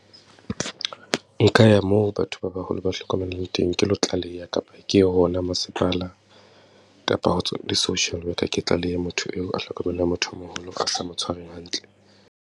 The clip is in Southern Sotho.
Nka ya moo batho ba baholo ba hlokomelang teng ke lo tlaleha kapa ke hona masepala kapa ho di-social worker, ke tlalehe motho eo a hlokomelang motho o moholo a sa mo tshware hantle.